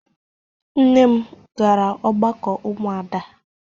Nne m gara ọgbakọ ụmụada.